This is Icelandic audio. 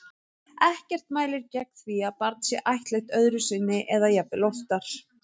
Ekkert mælir gegn því að barn sé ættleitt öðru sinni eða jafnvel oftar.